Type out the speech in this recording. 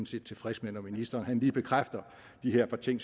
set tilfreds med når ministeren lige bekræfter de her par ting